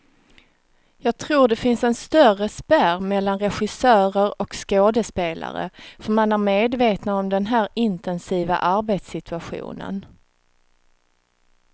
Jag tror det finns en större spärr mellan regissörer och skådespelare, för man är medvetna om den här intensiva arbetssituationen.